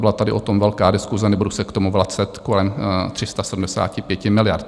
Byla tady o tom velká diskuse, nebudu se k tomu vracet, kolem 375 miliard.